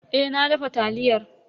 Eh na dafa taliyar.